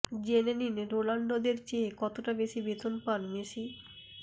জেনে নিন রোনালদোর চেয়ে কতটা বেশি বেতন পান মেসি